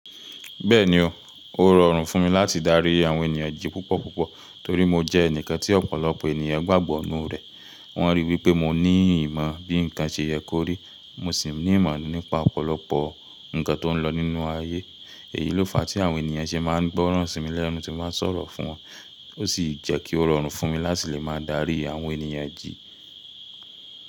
Bẹ́ẹ̀ni o, ó rọrùn fún mi láti darí àwọn ènìyàn jí púpọ̀púpọ̀ torí mo jẹ́ ẹnìkan tí ọ̀pọ̀lọpọ̀ ènìyàn gbàgbọ́ nínú rẹ̀. Wọ́n ríi wí pé mo ní ìmọ̀ bí ǹkan ṣe yẹ kó rí, mo sì ní ìmọ̀ nípa ọ̀pọ̀lọpọ̀ ǹkan tó ń lọ nínú ayé. Èyí ló fa tí àwọn ènìyàn ṣé máa ń gbọ́ràn sí mi lẹ́nu tí mo bá sọ̀rọ̀ fún wọn, ó sì jẹ́ kí ó rọrùn fún mi láti lè máa darí àwọn ènìyàn jí.